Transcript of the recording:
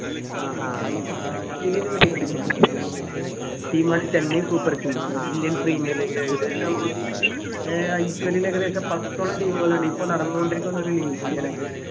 ഏർ അദ്ദേഹം IPL ന് വേണ്ടി കളിക്കുന്നുണ്ട് അദ്ദേഹത്തിന്റെ team ആണ് Chennai super kings Indian premier league ൽ ഏകദേശം ഏർ IPL ൽ ഏകദേശം പത്തോളം team കളുണ്ട് ഇപ്പോ നടന്നോണ്ടിരിക്കുന്ന ഒരു അത്